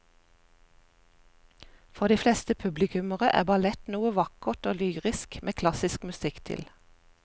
For de fleste publikummere er ballett noe vakkert og lyrisk med klassisk musikk til.